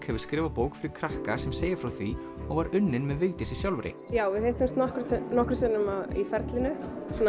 hefur skrifað bók fyrir krakka sem segir frá því og var unnin með Vigdísi sjálfri við hittumst nokkrum nokkrum sinnum í ferlinu